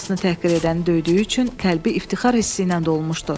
Anasını təhqir edəni döydüyü üçün qəlbi iftixar hissi ilə dolmuşdu.